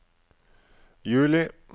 juli